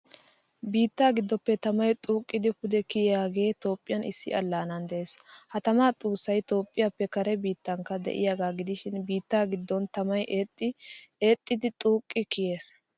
Biitta giddoppe tamay xuuqqidi pude kiyiyaagee toophphiya issi allaanaan de'es. Ha tamaa xuusaay toophphiyaaphphe kare biittankka de'iyaagaa giidishi biitta giddon tamay eexxidi xuqqi kiyees.